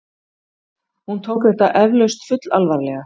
Hún tók þetta eflaust fullalvarlega.